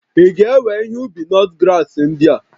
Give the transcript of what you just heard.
Ị ga-ewe ihe ubi nutgrass ndị a?